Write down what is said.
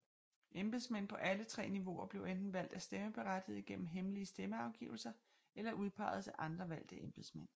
Embedsmænd på alle tre niveauer bliver enten valgt af stemmeberettigede gennem hemmelige stemmeafgivelser eller udpeges af andre valgte embedsmænd